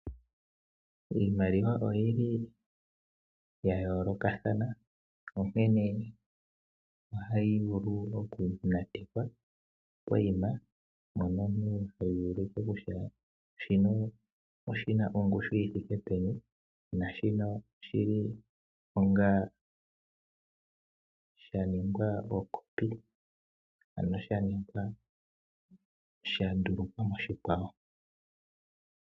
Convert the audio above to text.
Iimaliwa oyi li ya yoolokathana, onkene ohayi vulu okunatekwa pokuma, mpono omuntu heyi ulike kutya kehe shimwe oshi na ongushu yi thike peni nenge osha ningwa okopi, ano sha ningwa sha ndulukwa moshikwawo.